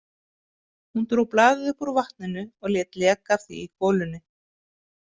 Hún dró blaðið upp úr vatninu og lét leka af því í golunni.